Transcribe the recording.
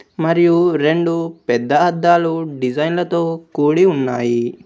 మరియు రెండు పెద్ద అద్దాలు డిజైన్లతో కూడి ఉన్నాయి.